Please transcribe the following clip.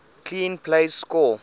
clean plays score